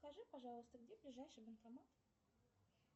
скажи пожалуйста где ближайший банкомат